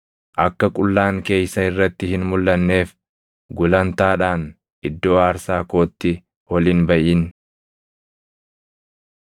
Akka qullaan kee isa irratti hin mulʼanneef gulantaadhaan iddoo aarsaa kootti ol hin baʼin.’